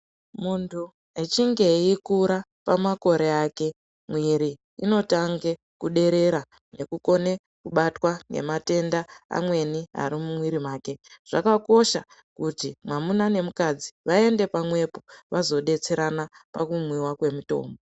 Muntu echinge eikura pamakore ake mwiri inotange kuderera ngekukone kubatwa nematenda amweni Ari mumwiri make zvakakosha kuti mwamuna nemukadzi vaende pamwepo vazodetsera pakumwiwa kwemutombo.